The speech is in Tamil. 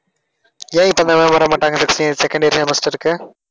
ஏன் இப்ப இந்த ma'am வரமாட்டாங்க? first year second year semester க்கு